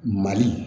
Mali